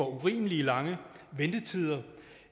urimelig lange ventetider